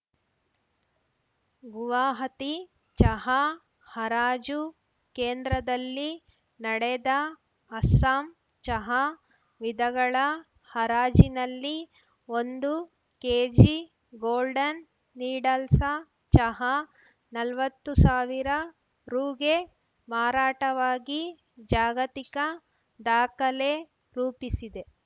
ಗುವಾಹತಿ ಚಹಾ ಹರಾಜು ಕೇಂದ್ರದಲ್ಲಿ ನಡೆದ ಅಸ್ಸಾಂ ಚಹಾ ವಿಧಗಳ ಹರಾಜಿನಲ್ಲಿ ಒಂದು ಕೆಜಿ ಗೋಲ್ಡನ್‌ ನೀಡಲ್ಸಾ ಚಹಾ ನಲ್ವತ್ತು ಸಾವಿರರುಗೆ ಮಾರಾಟವಾಗಿ ಜಾಗತಿಕ ದಾಖಲೆ ರೂಪಿಸಿದೆ